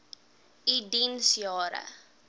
u diens jare